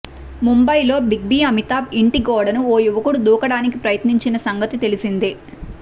ముంబైలోని big B Amitabh ఇంటి గోడని ఓ యువకుడు దూకడానికి ప్రయత్నించిన సంగతి తెలిసిందే